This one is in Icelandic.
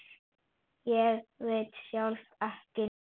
Ég veit sjálf ekki neitt.